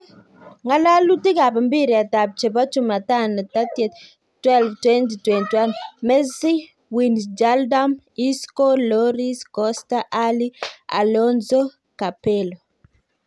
Ng'alalutik ab mpiret ab chebo chumatano 30.12.2021: Messi, Wijnaldum, Isco, Lloris, Costa , Alli, Alonso, Capello